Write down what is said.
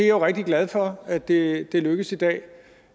er rigtig glad for at det er lykkedes i dag